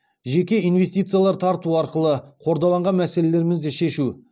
жеке инвестициялар тарту арқылы қордаланған мәселелерімізді шешу